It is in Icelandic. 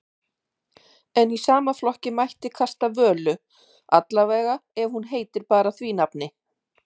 En í sama flokki mætti kasta Völu, allavega ef hún heitir bara því nafni.